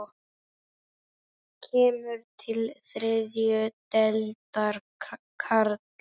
Kemur til þriðju deildar karla?